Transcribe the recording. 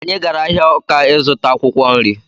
Anyị gara ahịa Ọka ịzụta akwụkwọ nri